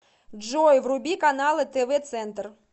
джой вруби каналы тв центр